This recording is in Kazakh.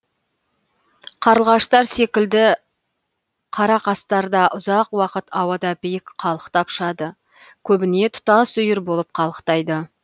қарлығаштар секілді қарақастар да ұзақ уақыт ауада биік қалықтап ұшады көбіне тұтас үйір болып қалықтайды